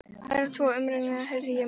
Aðra tvo umrenninga heyrði ég um.